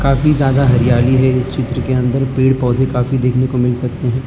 काफी ज्यादा हरियाली है इस चित्र के अंदर पेड़ पौधे काफी देखने को मिल सकते है।